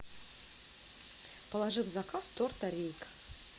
положи в заказ торта рейк